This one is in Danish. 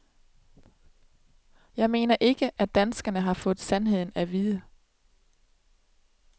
Jeg mener ikke, at danskerne har fået sandheden af vide.